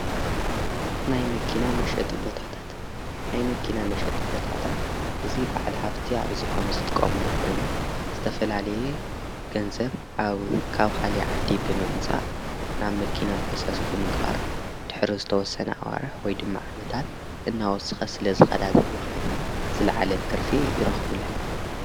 ናይናጥናይ መኪና መሸጥ ቦታታት እዙ በዕል ሃፍቲ ኣብዚሖም ዝትቃሙሉ ኾይኑ ዝተፈላሌየ ገንዘብ ኣብ ካብሃሊ ዓዲ ብመምጻእ ናብ መኪና ፈሰስ ብምግባር ድኅሪ ዝተወሰና ኣዋርሕ ወይ ድማ ዓመታት እናወስኸ ስለ ዝኸዳዘን መኸይን ዝለዓለት ትርፊ ይረኽብለን።